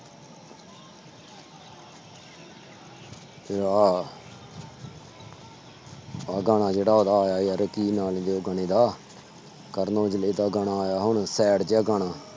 ਤੇ ਆਹ ਆਹ ਗਾਣਾ ਜਿਹੜਾ ਉਹਦਾ ਆਇਆ ਯਾਰ ਕੀ ਨਾਂ ਸੀ ਉਹ ਗਾਣੇ ਦਾ, ਕਰਨ ਔਜਲੇ ਦਾ ਗਾਣਾ ਆਇਆ ਹੁਣ sad ਜਿਹਾ ਗਾਣਾ।